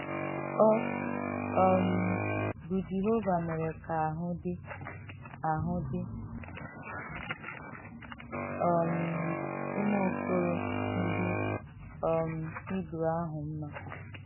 Ọ um bụ Jehova mere ka ahụ́ dị ahụ́ dị um ụmụ okoro ndị um Hibru ahụ mma.